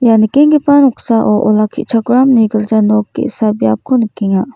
ia nikenggipa noksao olakkichakramni gilja nok ge·sa biapko nikenga.